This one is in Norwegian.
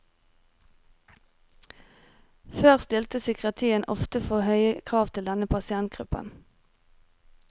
Før stilte psykiatrien ofte for høye krav til denne pasientgruppen.